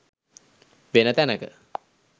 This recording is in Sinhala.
වෙන තැනක